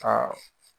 Aa